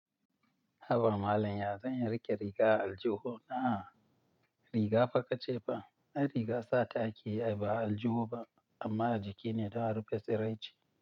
Haba malam ya zan iya riƙe riga a aljihu na? Riga fa ka ce fa, ai riga sata ake yi ai ba a aljihu ba, amma a jiki ne dan a rufe tsiraici.